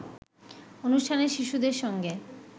অনুষ্ঠানে শিশুদের সঙ্গে